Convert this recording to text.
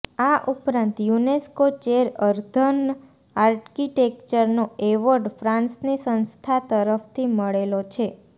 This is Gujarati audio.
આ ઉપરાંત યુનેસ્કો ચેર અર્ધન આર્કિટેક્ચરનો એવોર્ડ ફ્રાન્સની સંસ્થા તરફથી મળેલો છે